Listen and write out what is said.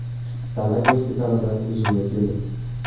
Dala gospitalida o‘zimga keldim.